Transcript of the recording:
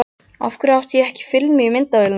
Af hverju átti ég ekki filmu í myndavélina?